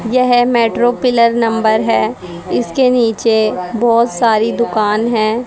यह metro pillar number है इसके नीचे बहोत सारी दुकान है।